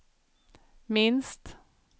minst